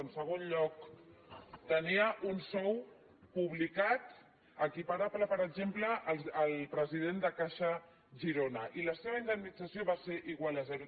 en segon lloc tenia un sou publicat equiparable per exemple al del president de caixa girona i la seva in·demnització igual a zero